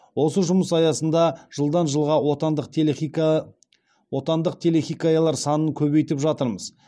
осы жұмыс аясында жылдан жылға отандық телехикаялар санын көбейтіп жатырмыз